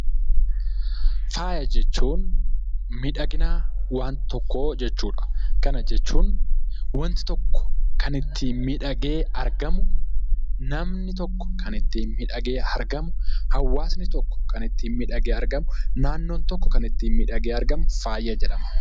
Faayya jechuun miidhagina waan tokkoo jechuu dha. Kana jechuun wanti tokko kan ittiin miidhagee argamu, namni tokko kan ittiin miidhagee argamu, hawwaasni tokko kan ittiin miidhagee argamuu fi naannoon tokko kan ittiin miidhagee argamu faayya jedhama.